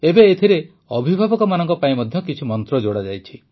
ଏବେ ଏଥିରେ ଅଭିଭାବକମାନଙ୍କ ପାଇଁ ମଧ୍ୟ କିଛି ମନ୍ତ୍ର ଯୋଡ଼ାଯାଇଛି